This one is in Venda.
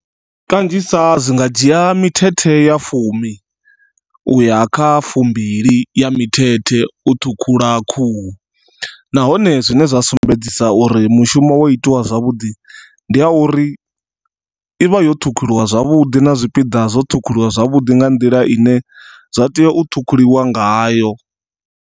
Kanzhisa zwi nga dzhia mithethe ya fumi uya kha fumbili ya mithethe u ṱhukhula khuhu, nahone zwine zwa sumbedzisa uri mushumo wo itiwa zwavhuḓi ndi ya uri ivha yo ṱhukhuliwa zwavhuḓi na zwipiḓa zwo ṱhukhuliwa zwavhuḓi nga nḓila ine zwa tea u ṱhukhuliwa ngayo.